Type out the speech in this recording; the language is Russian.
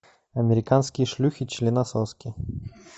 американские шлюхи членососки